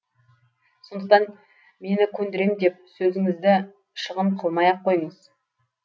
сондықтан мені көндірем деп сөзіңізді шығын қылмай ақ қойыңыз